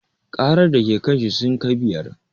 Ƙarar da ke kanshi sun kai biyar